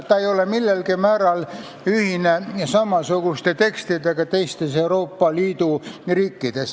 Ta ei ole seesama mis samasugused tekstid teistes Euroopa Liidu riikides.